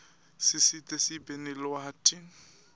sisita sibe nelwati